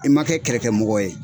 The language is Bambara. I ma kɛ kɛlɛkɛmɔgɔ ye.